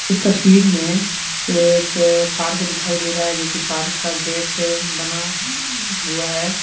इस तस्वीर में एक पार्क दिखाई दे रहा है जो कि पार्क का गेट बना हुआ है।